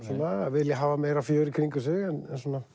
vilja hafa meira fjör í kringum sig en